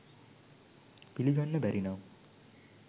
පිළිගන්න බැරි නම්